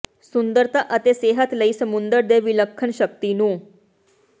ਸੁੰਦਰਤਾ ਅਤੇ ਸਿਹਤ ਲਈ ਸਮੁੰਦਰ ਦੇ ਵਿਲੱਖਣ ਸ਼ਕਤੀ ਨੂੰ